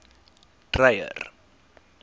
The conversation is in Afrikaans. dreyer